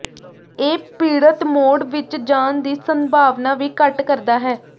ਇਹ ਪੀੜਤ ਮੋਡ ਵਿੱਚ ਜਾਣ ਦੀ ਸੰਭਾਵਨਾ ਵੀ ਘੱਟ ਕਰਦਾ ਹੈ